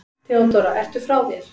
THEODÓRA: Ertu frá þér?